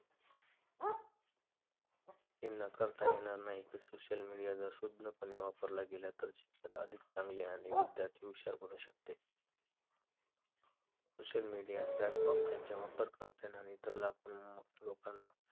हे नाकारता येणार नाही की social media जर सुज्ञ पणे वापरला गेला तर शिक्षण अधिक चांगले आणि विद्यार्थी हुशार बनु शकते social media platform त्यांच्या वापरकर्त्यांना आणि इतर लोकांना